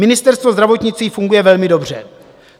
Ministerstvo zdravotnictví funguje velmi dobře.